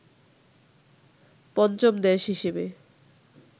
পঞ্চম দেশ হিসেবে